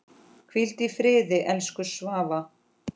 Hvíl í friði, elsku Svava.